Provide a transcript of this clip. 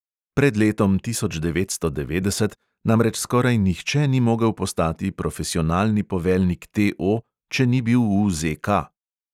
Pred letom tisoč devetsto devetdeset namreč skoraj nihče ni mogel postati profesionalni poveljnik TO, če ni bil v ZK.